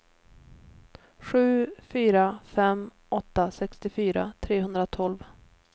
sju fyra fem åtta sextiofyra trehundratolv